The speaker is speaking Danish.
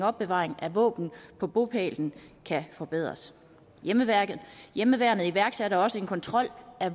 opbevaring af våben på bopælen kan forbedres hjemmeværnet hjemmeværnet iværksatte også en kontrol af